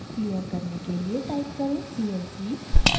clear करने के लिए टाइप करें clc